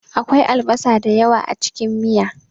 Akwai albasa da yawa a cikin miya.